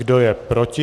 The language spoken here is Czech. Kdo je proti?